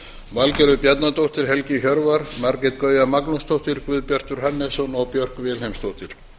valgerður bjarnadóttir helgi hjörvar margrét gauja magnúsdóttir guðbjartur hannesson og björk vilhelmsdóttir